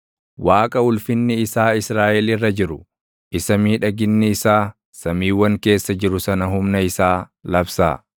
Waaqa ulfinni isaa Israaʼel irra jiru, isa miidhaginni isaa samiiwwan keessa jiru sana humna isaa labsaa.